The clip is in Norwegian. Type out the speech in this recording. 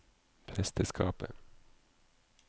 presteskapet